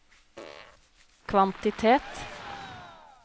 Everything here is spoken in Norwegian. kvantitet